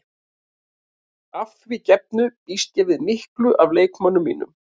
Að því gefnu býst ég við miklu af leikmönnum mínum.